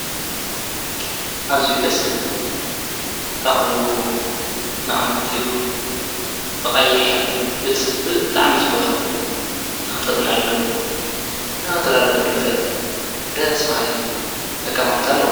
ኣዝዩ ደስ ዝብል! ጣውልኡ፣ መቐመጢኡ ብቐይሕ ሕብሪ በቲ ብጣዓሚ ዝፈትዎ ንኽተፅነዐሉ ንኽትረዳዳአሉ ዝዕድም ደስ ባሃሊ ኣቀማምጣ ኣለዎ።